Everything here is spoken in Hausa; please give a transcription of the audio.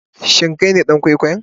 Shin Kai ne dan kwaikwayon?